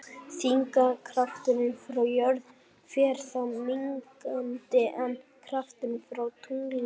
Þyngdarkrafturinn frá jörð fer þá minnkandi en krafturinn frá tungli vaxandi.